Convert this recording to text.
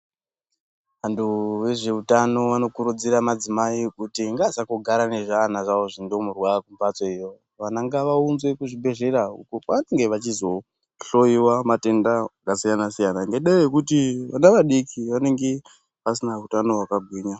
Vantu vezveutano vanokurudzira madzimai kuti ngaasangogara nezviana zvawo zvindimurwa kumphatsoyo, vana ngavaunzwe kuzvibhedhlera uko kwazanonge vachizohloyiwa matenda akasiyanasiyana ngendaa yekuti vana vadiki vanonge vasina utano hwakagwinya.